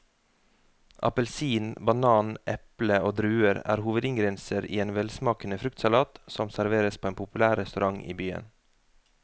Appelsin, banan, eple og druer er hovedingredienser i en velsmakende fruktsalat som serveres på en populær restaurant i byen.